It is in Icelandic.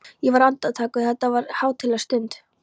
Ég var andaktugur, þetta var hátíðleg stund.